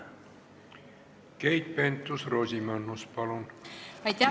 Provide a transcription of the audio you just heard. Keit Pentus-Rosimannus, palun!